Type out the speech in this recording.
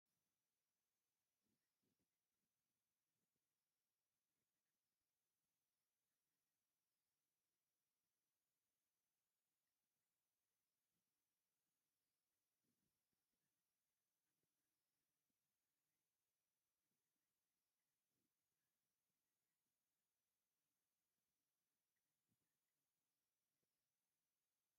ሰለስተ መፍተላት እታ ሓንቲ ዓብይ ምልቆ ዘለዋ እተን ክልተ ግን ንእሽተይ ሙሉቆ ተጀሚርዎን ምስ ጡጠንን አብ ቡናማ ሕብሪ ዝተረበበ ድሕረ ባይታ ይርከብ፡፡ እታ ክቢ ነገር ኮይና አብ ላዕሊ እቲ አርቃይ ዝርከብ ጎማ እንታይ ተባሂሉ ይፍለጥ?